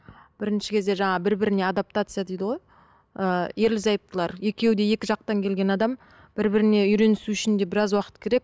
бірінші кезде жаңағы бір біріне адаптация дейді ғой ы ерлі зайыптылар екеуі де екі жақтан келген адам бір біріне үйренісу үшін де біраз уақыт керек